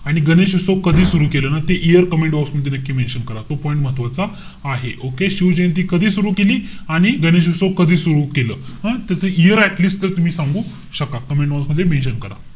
आणि गणेशोत्सव कधी सुरु केला ना ते year comment box मध्ये नक्की mention करा. तो point महत्वाचा आहे. Okay? शिवजयंती कधी सुरु केली? आणि गणेशोत्सव कधी सुरु केलं? हं? त त्याच year atleast ते तुम्ही सांगू शका. Commentbox मध्ये mention करा.